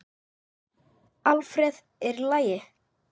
Alfreð, er í lagi?